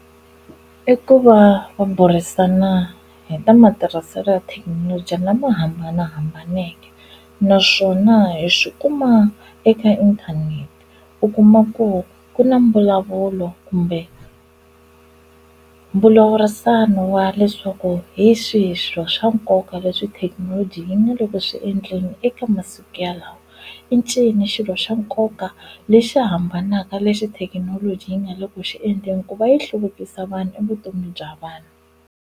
I ku va va burisana hi ta matirhiselo ya thekinoloji lama hambanahambaneke naswona hi swi kuma eka inthanete u kuma ku ku na mbulavulo kumbe mbulavurisano wa leswaku hi xihi swa nkoka leswi thekinoloji yi nga le ku swi endleni eka masiku yalawo i ncini xilo xa nkoka lexi hambanaka lexi thekinoloji yi nga le ku xi endleni hikuva yi hluvukisa vanhu i vutomi bya vanhu.